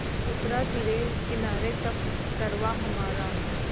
उतरा तिरे किनारे जब कारवाँ हमारा